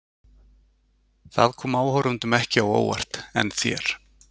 Það kom áhorfendum ekki á óvart en þér?